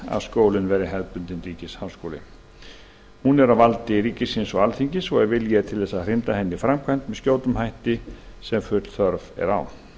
að skólinn verði hefðbundinn ríkisháskóli og er það á valdi ríkisins og alþingis ef vilji er til að hrinda því í framkvæmd með skjótum hætti sem full þörf er á